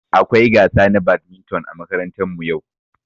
Akwai gasa na badminton ã makarantan mu yau.